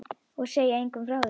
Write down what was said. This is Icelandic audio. Og segja engum frá því.